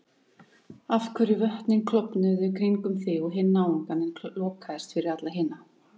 Af hverju vötnin klofnuðu kringum þig og hinn náungann en lokaðist yfir alla hina?